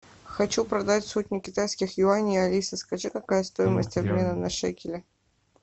хочу продать сотню китайских юаней алиса скажи какая стоимость обмена на шекели